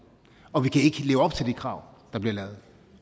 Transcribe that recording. og vi kan ikke leve op til de krav der bliver lavet